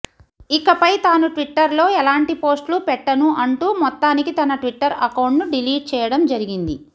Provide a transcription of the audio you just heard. ఇకపై తాను ట్విట్టర్లో ఎలాంటి పోస్ట్లు పెట్టను అంటూ మొత్తానికి తన ట్విట్టర్ అకౌంట్ను డిలీట్ చేయడం జరిగింది